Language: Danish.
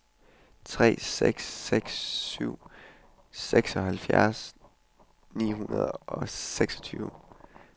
tre seks seks syv seksoghalvfjerds ni hundrede og seksogtyve